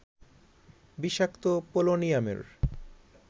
বিষাক্ত পোলোনিয়ামের